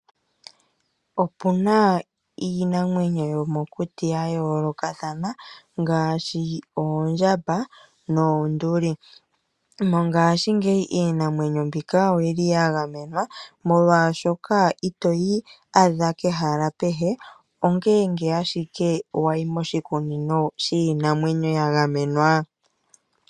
Opuna iinamwenyo yomokuti ya yoolokathana ngaashi, oondjamba noonduli. Mongashingeyi iinamwenyo mbika oyili ya gamenwa molwashoka itoi adha pehala kehe, ongele owala wayi moshikunino shiinamwenyo ya gamenwa.